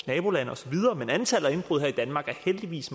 nabolande osv men antallet af indbrud her i danmark er heldigvis